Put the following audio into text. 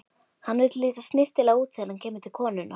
Hann vill líta snyrtilega út þegar hann kemur til konunnar.